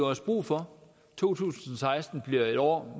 også brug for to tusind og seksten bliver et år